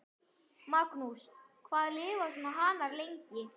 Magnús: Hvað lifa svona hanar lengi?